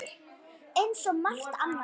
Eins og svo margt annað.